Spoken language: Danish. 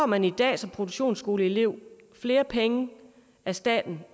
man i dag som produktionsskoleelev flere penge af staten